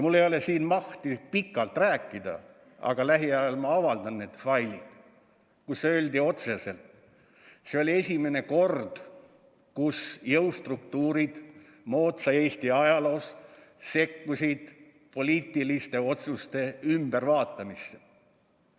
Mul ei ole siin mahti pikalt rääkida, aga lähiajal ma avaldan need failid, kus öeldi otseselt: see oli esimene kord tänapäeva Eesti ajaloos, kui jõustruktuurid sekkusid poliitiliste otsuste muutmisse.